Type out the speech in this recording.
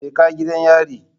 Jeka gidan yari.